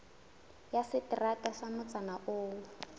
ya seterata sa motsana oo